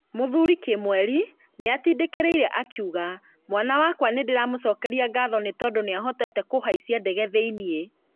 Mũthuri Kimweri nĩatindĩkĩrĩirie akiuga "mwana wakwa nĩndĩramũcokeria ngatho nĩ tondũ nĩahotete kũhaishia ndege thĩiniĩ"